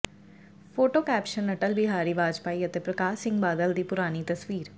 photo caption Atal Bihari Vajpayee ਅਤੇ ਪ੍ਰਕਾਸ਼ ਸਿੰਘ ਬਾਦਲ ਦੀ ਪੁਰਾਣੀ ਤਸਵੀਰ